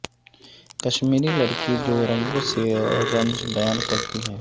کشمیری لڑکی جو رنگوں سے رنج بیان کرتی ہے